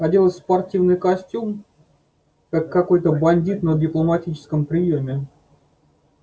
оделась в спортивный костюм как какой-то бандит на дипломатическом приёме